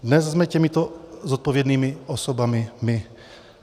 Dnes jsme těmito zodpovědnými osobami my.